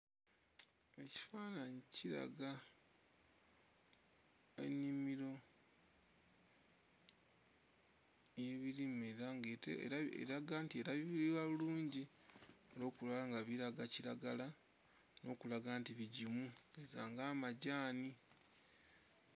Ekifaananyi kiraga ennimiro y'ebirime era ng'ete... eraga nti erabirirwa bulungi olw'okuba nti biraga kiragala n'okulaga nti bigimu okugeza ng'amajaani.